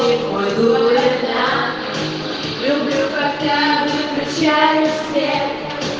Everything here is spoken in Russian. уровнем моря люблю капитальных качалинская